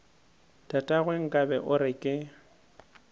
tatagwe nkabe o re ke